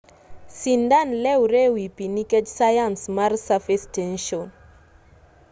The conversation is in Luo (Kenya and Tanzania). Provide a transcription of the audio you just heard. sindan lewre ewi pii nikech sayans mar surface tension